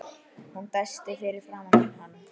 Hún dæsti fyrir framan hann.